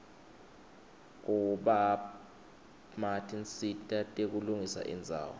kubapma tinsita tekulungisa indzawo